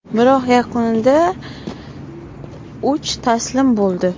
Biroq yakunda IIV taslim bo‘ldi.